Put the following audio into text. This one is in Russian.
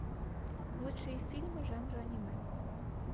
лучшие фильмы жанра аниме